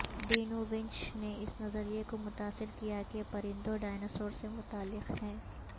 ڈینوونیچ نے اس نظریے کو متاثر کیا کہ پرندوں ڈایناسور سے متعلق ہیں